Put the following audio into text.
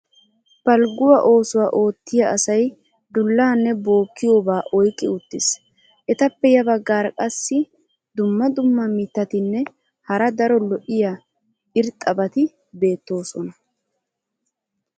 Balgguwaa oosuwa ootiya asay dulaanne bookkiyoobaa oyqqi uttiis. etappe ya bagaara qassi dumma dumma mitatinne hara daro lo'iya irxxabati beetoosona.